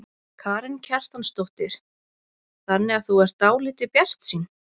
Karen Kjartansdóttir: Þannig að þú ert dálítið bjartsýn?